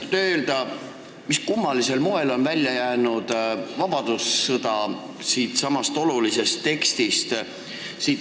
Kas te oskate öelda, mis kummalisel moel on välja jäänud siit olulisest tekstist vabadussõda?